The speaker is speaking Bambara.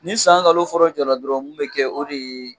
Ni san nkalon fɔlɔ jɔra dɔrɔn mun bɛ kɛ o de ye